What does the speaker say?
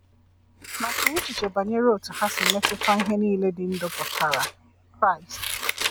Ma chee echiche banyere otú ha si metụta ihe niile dị ndụ pụtara: Kraịst.